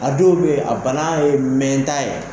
A dɔw be yen a bana ye mɛn tan ye.